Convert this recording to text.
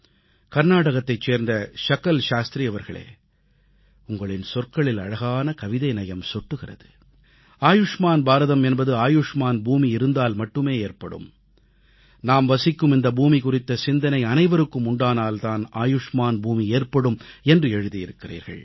கர்நாடகத்தைச் சேர்ந்த ஷகல் சாஸ்திரி அவர்களே உங்களின் சொற்களில் அழகான கவிதைநயம் சொட்டுகிறது ஆயுஷ்மான் பாரதம் என்பது ஆயுஷ்மான் பூமி இருந்தால் மட்டுமே ஏற்படும் நாம் வசிக்கும் இந்த பூமி குறித்த சிந்தனை அனைவருக்கும் உண்டானால் தான் ஆயுஷ்மான் பூமி ஏற்படும் என்று எழுதியிருக்கிறீர்கள்